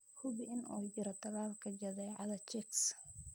Hubi in uu jiro tallaalka jadeecada chicks.